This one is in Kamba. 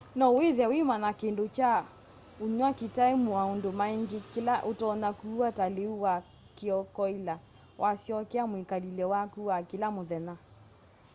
no withie wimanya kindu kya unywa kitai maundu maingi kila utonya kuua ta liu wa kiokoila wasyokea mwikalile waku wa kila muthenya